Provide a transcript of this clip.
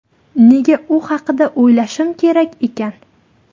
Nega u haqida o‘ylashim kerak ekan?